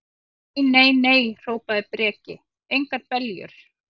Nei, nei, nei, hrópaði Breki, engar beljur.